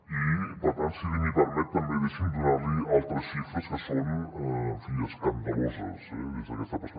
i per tant si m’ho permet també deixi’m donar li altres xifres que són en fi escandaloses des d’aquesta perspectiva